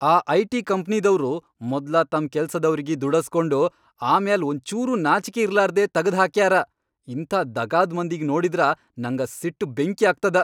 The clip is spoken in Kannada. ಆ ಐ.ಟಿ. ಕಂಪ್ನಿದವ್ರು ಮೊದ್ಲ ತಮ್ ಕೆಲ್ಸದವ್ರಿಗಿ ದುಡಸ್ಗೊಂಡ್ ಆಮ್ಯಾಲ್ ಒಂಚೂರೂ ನಾಚಿಕಿ ಇರ್ಲಾರ್ದೇ ತಗದ್ಹಾಕ್ಯಾರ, ಇಂಥಾ ದಗಾದ್ ಮಂದಿಗಿ ನೋಡಿದ್ರ ನಂಗ ಸಿಟ್ ಬೆಂಕ್ಯಾಗ್ತದ.